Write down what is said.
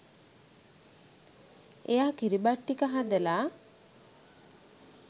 එයා කිරිබත් ටික හදලා